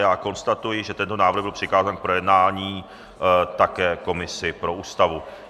Já konstatuji, že tento návrh byl přikázán k projednání také komisi pro ústavu.